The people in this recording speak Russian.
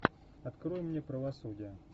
открой мне правосудие